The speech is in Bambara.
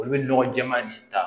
Olu bɛ nɔgɔ jɛman nin ta